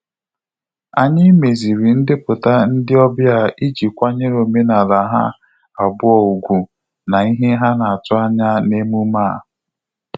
Anyị meziri ndepụta ndị ọbịa iji kwanyere omenala ha abụọ ùgwù na-ihe ha na atụ anya na emume a.